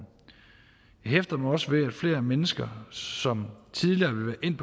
jeg hæfter mig også ved at flere mennesker som tidligere ville